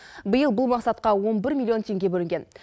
биыл бұл мақсатқа он бір млн теңге бөлінген